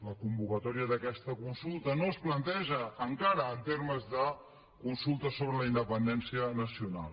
la convocatòria d’aquesta consulta no es planteja encara en termes de consulta sobre la independència nacional